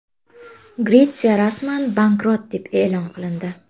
Gretsiya rasman bankrot deb e’lon qilindi.